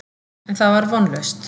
En það var vonlaust.